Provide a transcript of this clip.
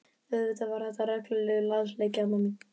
Auðvitað var þetta reglulegur lasleiki Alma mín.